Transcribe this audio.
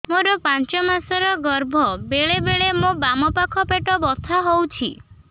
ମୋର ପାଞ୍ଚ ମାସ ର ଗର୍ଭ ବେଳେ ବେଳେ ମୋ ବାମ ପାଖ ପେଟ ବଥା ହଉଛି